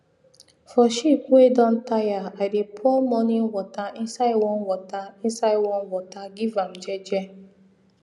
for sheep wey don tire i dey pour morning water inside warm water inside warm water give am jeje